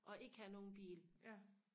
og ikke have nogen bil